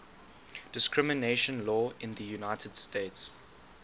discrimination law in the united states